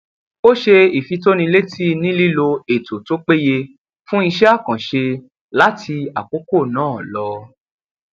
ó ṣe ìfitónilétí nílílò ètò tó péye fún iṣẹ àkànṣe láti àkókò náà lọ